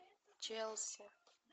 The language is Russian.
челси